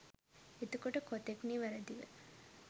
එතකොට කොතෙක් නිවැරදිව